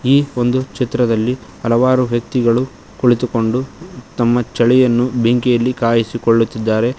ಈ ಒಂದು ಚಿತ್ರದಲ್ಲಿ ಹಲವಾರು ವ್ಯಕ್ತಿಗಳು ಕುಳಿತುಕೊಂಡು ತಮ್ಮ ಚಳಿಯನ್ನು ಬೆಂಕಿಯಲ್ಲಿ ಕಾಯಿಸಿಕೊಳ್ಳುತ್ತಿದ್ದಾರೆ.